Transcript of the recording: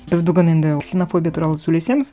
біз бүгін енді ксенофобия туралы сөйлесеміз